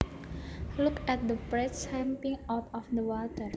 Look at that perch jumping out of the water